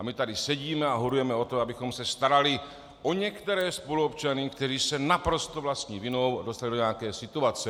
A my tady sedíme a horujeme o to, abychom se starali o některé spoluobčany, kteří se naprosto vlastní vinou dostali do nějaké situace.